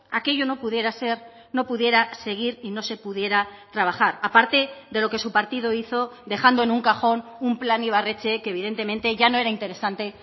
aquello no pudiera ser no pudiera seguir y no se pudiera trabajar aparte de lo que su partido hizo dejando en un cajón un plan ibarretxe que evidentemente ya no era interesante